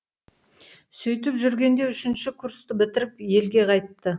сөйтіп жүргенде үшінші курсты бітіріп елге қайтты